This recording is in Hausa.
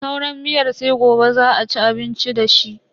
Sauran miyar sai gobe za a ci abinci dashi.